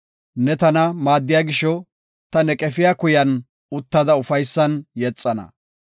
Ne tana maaddiya gisho, Ta ne qefiya kuyan uttada ufaysan yexana.